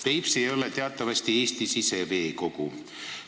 Peipsi ei ole teatavasti Eesti siseveekogu.